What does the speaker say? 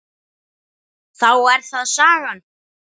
Þá er það sagan.